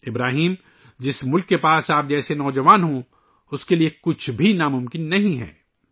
ابراہیم، جس ملک میں آپ جیسا نوجوان ہو، اس کے لئے کچھ بھی ناممکن نہیں ہے